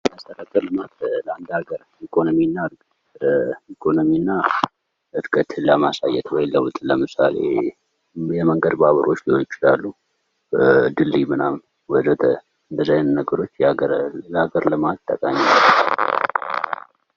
መሰረተ ልማት ለአንድ አገር ኢኮኖሚና እድገት ለማሳየት ወይም ለዉጥ ለምሳሌ የመንገድ ባቡሮች ሊሆኑ ይችላሉ። ድልድይ እነዚህ አይነት ነገሮች ለአገር ልማት ጠቃሚ ናቸዉ።